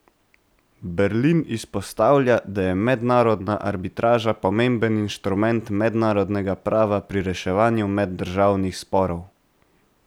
Berlin izpostavlja, da je mednarodna arbitraža pomemben inštrument mednarodnega prava pri reševanju meddržavnih sporov.